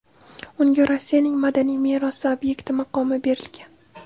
Unga Rossiyaning madaniy merosi obyekti maqomi berilgan.